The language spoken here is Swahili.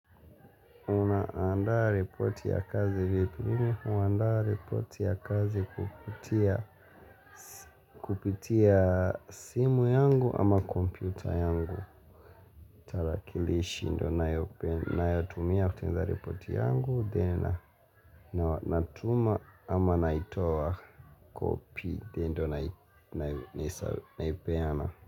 Unaandaa ripoti ya kazi vipi, mimi huandaa ripoti ya kazi kupitia kupitia simu yangu ama kompyuta yangu. Tarakilishi ndiyo ninayotumia kutengeneza ripoti yangu, then natuma ama naitoa copy, then ndiyo naipeana.